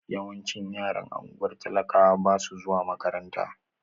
Yawancin yaran ungwar talakawa basu zuwa makaranta.